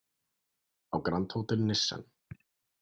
Á Grand Hotel Nissen.